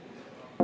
Head kolleegid!